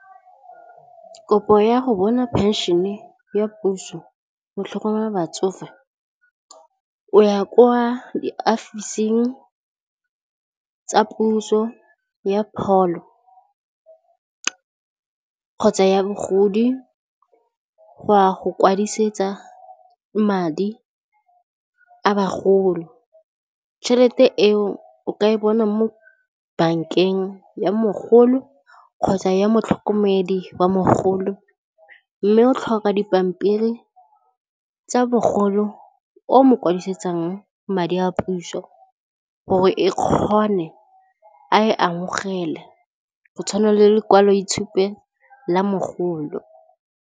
Kopo ya go bona pension-e ya puso go tlhokomela batsofe, o ya kwa di ofising tsa puso ya pholo kgotsa ya bogodi go ya go kwadisetsa madi a bagolo, tšhelete e o o ka e bona mo bank-eng ya mogolo kgotsa ya motlhokomedi wa mogolo mme o tlhoka dipampiri tsa mogolo o mokwadisetsang madi a puso gore e kgone a e amogele go tshwana le lekwalo itshupo la mogolo.